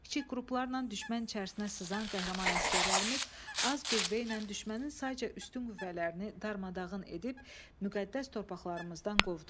Kiçik qruplarla düşmən içərisinə sızan qəhrəman əsgərlərimiz az qüvvə ilə düşmənin sayca üstün qüvvələrini darmadağın edib, müqəddəs torpaqlarımızdan qovdu.